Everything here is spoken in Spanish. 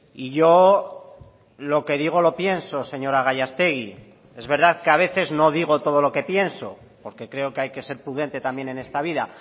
y yo lo que digo lo pienso señora gallástegui es verdad que a veces no digo todo lo que pienso porque creo que hay que ser prudente también en esta vida